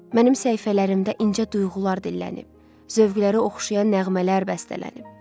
Mənim səhifələrimdə incə duyğular dillənib, zövqləri oxşayan nəğmələr bəstələnib.